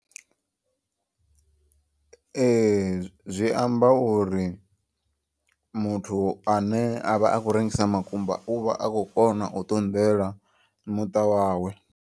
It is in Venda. Ee zwi amba uri muthu ane avha akho rengisa makumba uvha a kho kona u ṱunḓela muṱa wawe.